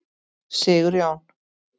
Sigurjón